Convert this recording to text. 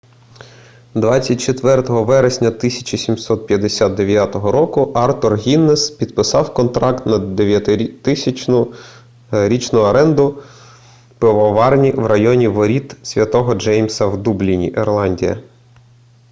24 вересня 1759 артур гіннесс підписав контракт на 9000-річну аренду пивоварні в районі воріт святого джеймса в дубліні ірландія